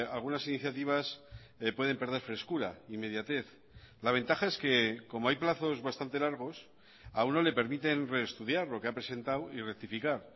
algunas iniciativas pueden perder frescura inmediatez la ventaja es que como hay plazos bastante largos a uno le permiten reestudiar lo que ha presentado y rectificar